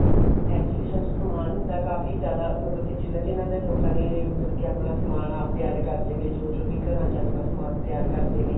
exhibition ਚ ਸਮਾਨ ਹੁੰਦਾ ਕਾਫੀ ਜ਼ਿਆਦਾ ਮਤਲਬ ਕੀ ਜਿਨ੍ਹਾਂ ਜਿਨ੍ਹਾਂ ਲੋਕਾਂ ਨੇ ਮਤਲਬ ਕੀ ਆਪਣਾ ਸਮਾਨ ਆਪ ਤਿਆਰ ਕਰਦੇ ਨੇ ਜੋ ਜੋ ਵੀ ਆਪਣਾ ਘਰਾਂ ਚ ਸਮਾਨ ਤਿਆਰ ਕਰਦੇ ਨੇ